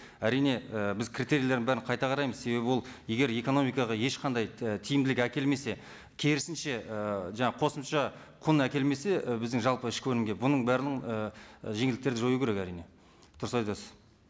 әрине і біз критерийлердің бәрін қайта қараймыз себебі ол егер экономикаға ешқандай і тиміділік әкелмесе керісінше ііі жаңа қосымша кұн әкелмесе і біздің жалпы ішкі өнімге бұның бәрін і жеңілдіктерді жою керек әрине дұрыс айтасыз